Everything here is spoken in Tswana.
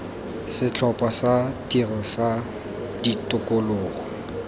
setlhopha sa tiro sa tikologo